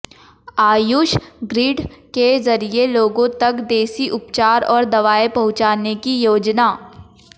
Ayush grid के जरिए लोगों तक देसी उपचार और दवाएं पहुंचाने की योजना